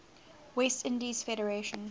west indies federation